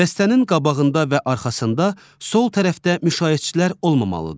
Dəstənin qabağında və arxasında sol tərəfdə müşayiətçilər olmamalıdır.